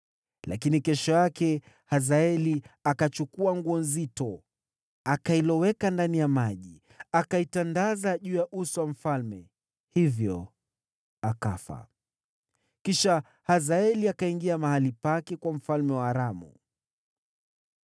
Lakini kesho yake Hazaeli akachukua nguo nzito, akailoweka ndani ya maji, akaitandaza juu ya uso wa mfalme, hivyo akafa. Kisha Hazaeli akaingia mahali pake kuwa mfalme wa Aramu.